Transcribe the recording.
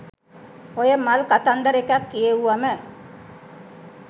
ඔය මල් කතන්දර එකක් කියෙව්වම